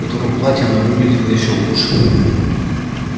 в котором платье она выглядела ещё лучше